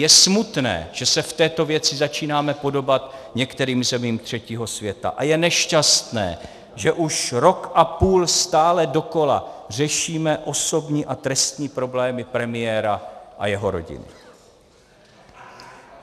Je smutné, že se v této věci začínáme podobat některým zemím třetího světa, a je nešťastné, že už rok a půl stále dokola řešíme osobní a trestní problémy premiéra a jeho rodiny.